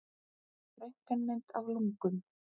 Röntgenmynd af lungum.